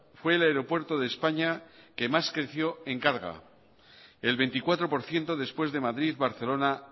fue el aeropuerto de españa que más creció en carga el veinticuatro por ciento después de madrid barcelona